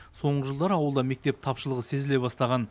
соңғы жылдары ауылда мектеп тапшылығы сезіле бастаған